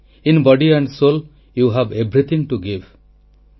in body and soul you have everything to give